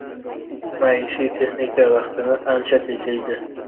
Maishiy texnika vaqtni ancha tejaydi.